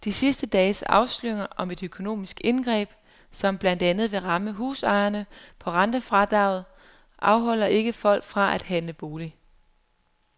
De sidste dages afsløringer om et økonomisk indgreb, som blandt andet vil ramme husejerne på rentefradraget, afholder ikke folk fra at handle bolig.